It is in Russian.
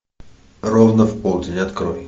ровно в полдень открой